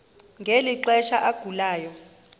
ngeli xesha agulayo